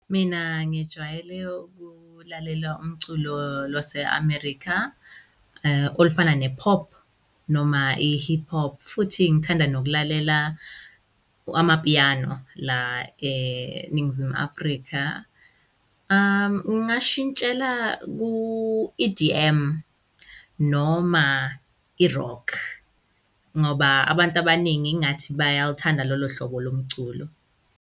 Mina ngijwayele ukulalela umculo lwase-America olufana ne-pop noma i-hip hop. Futhi ngithanda nokulalela amapiano, la eNingizimu Afrika, ngingashintshela ku-E_D_M noma i-rock, ngoba abantu abaningi ingathi bayaluthanda lolo hlobo lomculo.